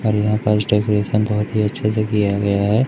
और यहां पास डेकोरेशन बहोत ही अच्छे से किया गया है।